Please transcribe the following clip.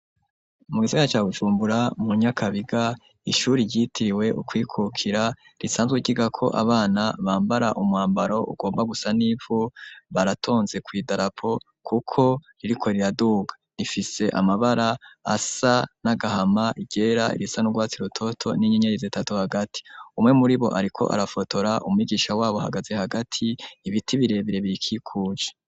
Mu gisiga ca Bujumbura, mu Nyakabiga, ishuri, ryitiriwe ukwikukira, risanzwe ryigako abana, bambara umwambaro, ugomba gusa n'ivu; baratonze kw'idarapo, kuko ririko riraduga; rifise amabara, asa n'agahama, iryera, irisa n'urwatsi rutoto, n'inyenyeri zitatu, hagati; umwe muri bo, ariko arafotora; umwigisha wabo, ahagaze hagati, ibiti birebire, birikikuje.